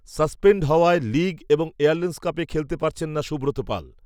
suspend হওয়ায় league, এবং, airlines, কাপে, খেলতে পারছেন না সুব্রত পাল